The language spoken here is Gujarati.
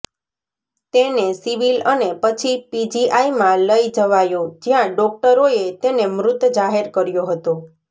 તેને સિવિલ અને પછી પીજીઆઈમાં લઈ જવાયો જ્યાં ડોક્ટરોએ તેને મૃત જાહેર કર્યો હતો